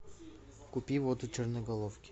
купи воду черноголовки